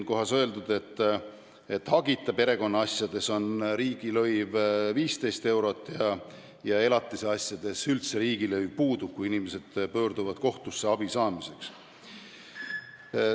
Olgu öeldud, et hagita perekonnaasjades on riigilõiv 15 eurot ja elatisasjades riigilõiv üldse puudub, kui inimesed pöörduvad kohtusse abi saamiseks.